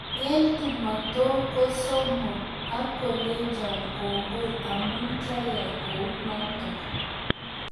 Eng tumotok kosomoo ak kolechoo kongoi amuu kiayai kounotok